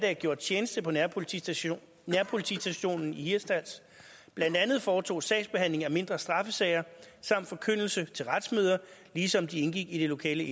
har gjort tjeneste på nærpolitistationen nærpolitistationen i hirtshals blandt andet foretog sagsbehandling af mindre straffesager og forkyndelse til retsmøder ligesom de indgik i det lokale